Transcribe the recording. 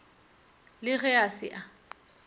le ge a se a